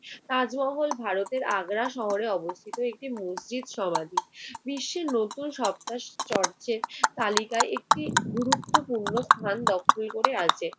তাজমহল ভারতের আগ্রা শহরে অবস্থিত একটি মসজিদ সমাধি। বিশ্বের নতুন সপ্তাশ্চর্যের তালিকায় একটি গুরুত্বপূর্ণ স্থান দখল করে আছে।